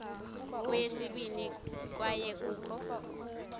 kweyesibini kwaye kukho